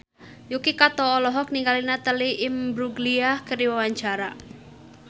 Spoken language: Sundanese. Yuki Kato olohok ningali Natalie Imbruglia keur diwawancara